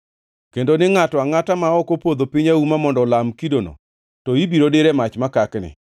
kendo ni ngʼato angʼata ma ok opodho piny auma mondo olam kidono to ibiro dir e mach makakni.